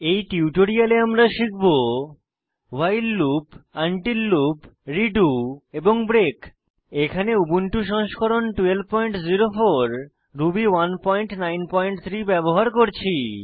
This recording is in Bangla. এই টিউটোরিয়ালে আমরা শিখব while loop until loop redo এবং ব্রেক এখানে উবুন্টু সংস্করণ 1204 রুবি 193 ব্যবহার করছি